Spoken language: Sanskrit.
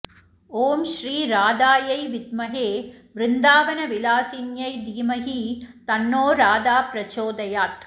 ॐ श्री राधायै विद्महे वृन्दावनविलासिन्यै धीमहि तन्नो राधा प्रचोदयात्